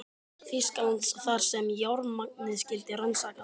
Þýskalands, þar sem járnmagnið skyldi rannsakað.